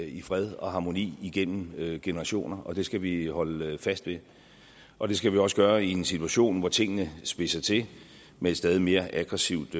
i fred og harmoni igennem generationer det skal vi holde fast ved og det skal vi også gøre i en situation hvor tingene spidser til med et stadig mere aggressivt